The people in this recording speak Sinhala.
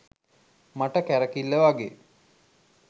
මට කැරකිල්ල වගේ.